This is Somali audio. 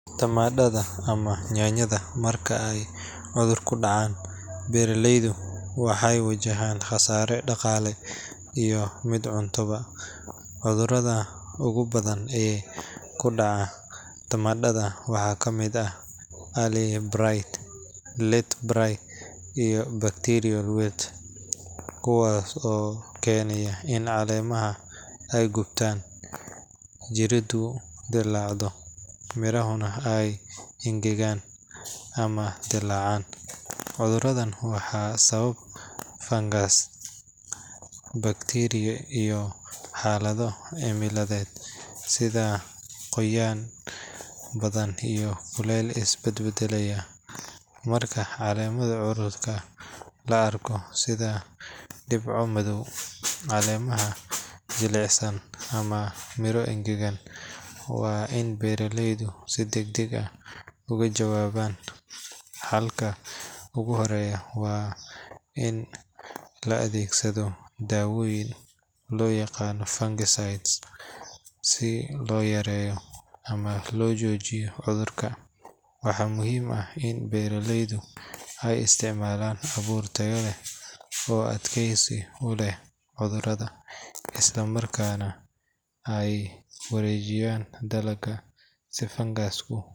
Tamadhada ama yaanyada marka ay cudur ku dhacaan, beeraleyda waxay wajahaan khasaare dhaqaale iyo mid cunto-ba. Cudurada ugu badan ee ku dhaca tamadhada waxaa ka mid ah Early Blight, Late Blight iyo Bacterial Wilt, kuwaas oo keena in caleemaha ay gubtaan, jiridu dillaacdo, mirahana ay engegaan ama dillaacaan. Cuduradan waxaa sababa fangas, bakteeriyo iyo xaalado cimiladeed sida qoyaan badan iyo kulayl isbadbeddelaya. Marka calaamado cudur la arko, sida dhibco madow, caleemo jilicsan ama miro engegan, waa in beeraleydu si degdeg ah uga jawaabaan. Xalka ugu horreeya waa in la adeegsado daawooyinka loo yaqaan fungicides si loo yareeyo ama loo joojiyo cudurka. Waxaa muhiim ah in beeraleydu ay isticmaalaan abuur tayo leh oo adkaysi u leh cudurada, isla markaana ay wareejiyaan dalagga si fangasku.